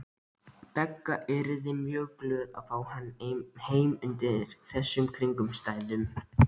Begga yrðu glöð að fá hann undir þessum kringumstæðum.